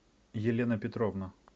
елена петровна